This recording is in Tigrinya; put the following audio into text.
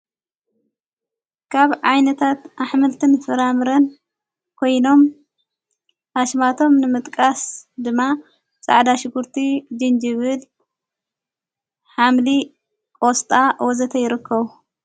ካብ ዓይነታት ኣሕምልትን ፍራምርን ኮይኖም ኣሽማቶም ንምጥቃስ ድማ ፃዕዳ ሽኲርቲ ጅንጅብል ኃምሊ ቆስጣ ወዘተ ይርከቡ::